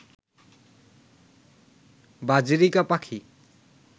বাজরিকা পাখি